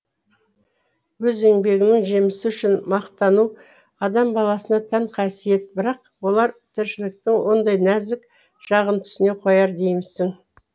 өз еңбегінің жемісі үшін мақтану адам баласына тән қасиет бірақ олар тіршіліктің ондай нәзік жағын түсіне қояр деймісің